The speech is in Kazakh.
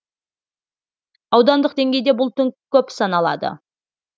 аудандық деңгейде бұл тым көп саналады